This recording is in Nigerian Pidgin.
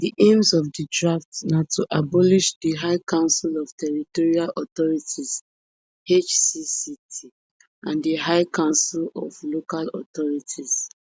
di aims of di draft na to abolish di high council of territorial authorities hcct and di high council of local authorities